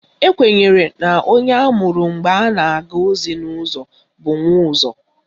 Ekwenyere na onye amụrụ mgbe a na-aga ozi n'ụzọ bụ Nwaụzọ